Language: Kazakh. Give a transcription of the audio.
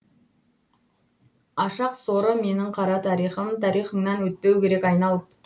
ашақ соры менің қара тарихым тарихыңнан өтпеу керек айналып